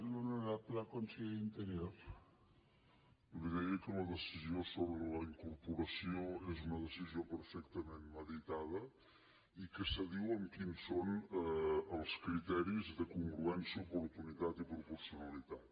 li deia que la decisió sobre la incorporació és un decisió perfectament meditada i que s’adiu amb quins són els criteris de congruència oportunitat i proporcionalitat